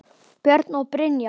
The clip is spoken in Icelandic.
Björn og Brynja.